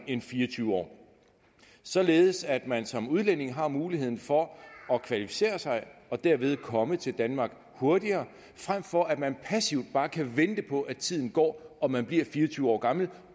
end fire og tyve år således at man som udlænding har muligheden for at kvalificere sig og derved komme til danmark hurtigere frem for at man passivt bare kan vente på at tiden går og man bliver fire og tyve år gammel